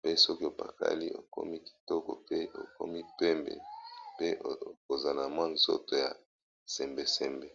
pe soki opakali okomi kitoko pe okomi pembe pe kozana mwa nzoto ya sembesembe.